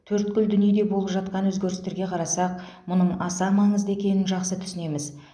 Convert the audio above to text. төрткүл дүниеде болып жатқан өзгерістерге қарасақ мұның аса маңызды екенін жақсы түсінеміз